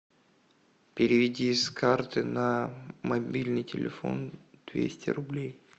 переведи с карты на мобильный телефон двести рублей